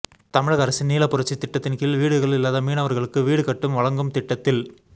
தமிழக அரசின் நீலபுரட்சித் திட்டத்தின்கீழ் வீடுகள் இல்லாத மீனவா்களுக்கு வீடு கட்டும் வழங்கும் திட்டத்தில் ஆரோக்கி